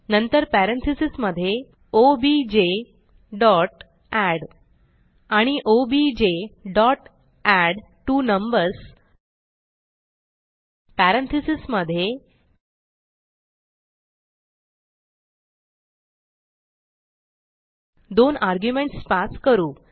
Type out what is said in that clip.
नंतर पॅरेंथीसेस मधे objएड आणि objएडट्वोनंबर्स पॅरेंथीसेस मधे दोन आर्ग्युमेंट्स पास करू